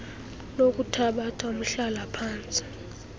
lokuthabatha umhlala phantsi